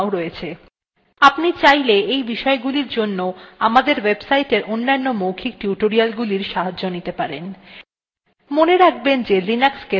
আপনি চাইলে এই বিষয়গুলির জন্য আমাদের ওয়েবসাইটের অন্যান্য মৌখিক টিউটোরিয়ালগুলির সাহায্য নিতে পারেন